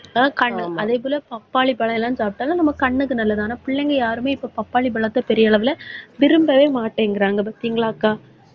ஆஹ் கண்ணு அதே போல பப்பாளி பழம் எல்லாம் சாப்பிட்டாலும், நம்ம கண்ணுக்கு நல்லது. ஆனா, பிள்ளைங்க யாருமே இப்ப பப்பாளி பழத்தை பெரிய அளவுல விரும்பவே மாட்டேங்கிறாங்க, பாத்திங்களாக்கா.